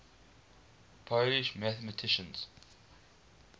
polish mathematicians